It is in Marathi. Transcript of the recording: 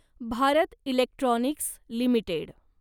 Bharat electronics limited